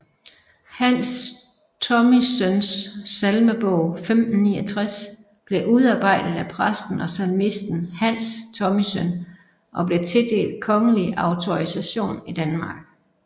Hans Thomissøns Salmebog 1569 blev udarbejdet af præsten og salmisten Hans Thomissøn og blev tildelt kongelig autorisation i Danmark